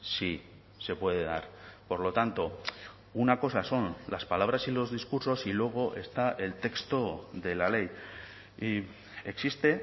sí se puede dar por lo tanto una cosa son las palabras y los discursos y luego está el texto de la ley y existe